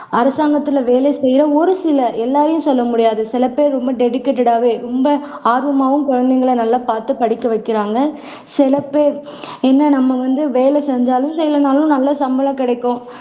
அரசாங்கத்துல வேலை செய்யிற ஒரு சில எல்லாரையும் செய்ய முடியாது சிலபேர் ரொம்ப டெடிகேட்டட்- ஆவே ரொம்ப ஆர்வமாவும் குழந்தைகளை பார்த்து படிக்க வைக்கிறாங்க, சிலபேர் என்ன நம்ம வேலை செஞ்சாலும், செயயலேனாலும் நல்ல சம்பளம் கிடைக்கும்